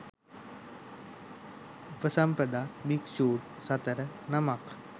උපසම්පදා භික්ෂූන් සතර නමක්